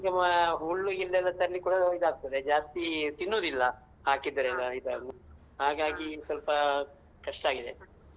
ಆಹುಲ್ಲು ಗಿಲ್ಲು ತರ್ಲಿಕ್ಕೂಇದ್ ಆಗ್ತದೆ ಜಾಸ್ತಿ ಇದ್ ಆಗ್ತದೆ ಜಾಸ್ತಿ ತಿನ್ನುದಿಲ್ಲ ಹಾಕಿದ್ರೆ ಎಲ್ಲ ಇದನ್ನುಹಾಗಾಗಿ ಸ್ವಲ್ಪ ಕಷ್ಟಾಗಿದೆ